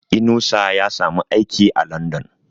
Inusa ya samu aiki a London